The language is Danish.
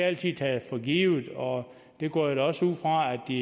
altid taget for givet og det går jeg da også ud fra at de